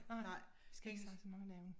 Nej vi skal ikke snakke så meget navne